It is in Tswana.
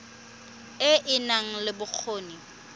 e e nang le bokgoni